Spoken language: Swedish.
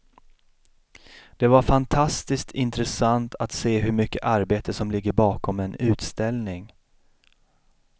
Det var fantastiskt intressant att se hur mycket arbete som ligger bakom en utställning.